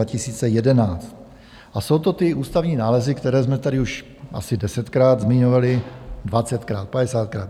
A jsou to ty ústavní nálezy, které jsme tady už asi desetkrát zmiňovali, dvacetkrát, padesátkrát.